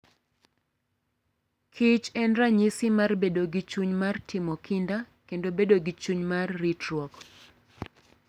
kich en ranyisi mar bedo gi chuny mar timo kinda kendo bedo gi chuny mar ritruok.